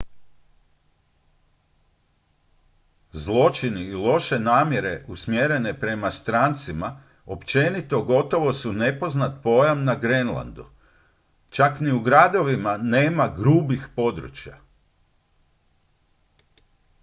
"zločini i loše namjere usmjerene prema strancima općenito gotovo su nepoznat pojam na grenlandu. čak ni u gradovima nema "grubih područja"".